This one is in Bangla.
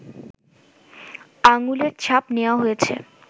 আঙ্গুলের ছাপ নেয়া হয়েছে